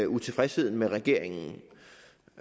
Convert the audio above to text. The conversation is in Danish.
utilfredsheden med regeringen